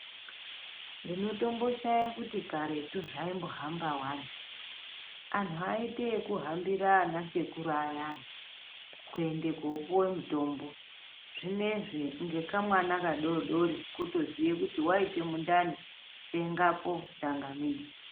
Ndinotombo shaya kuti karetu zvaimbo hamba wani anhu aiite eku hambira ana sekuru ayani kuende kopiwe mitombo zvinezvi ngeka mwana ka dodori kitoziye kuti waite mundani tengepo tsangamidzi.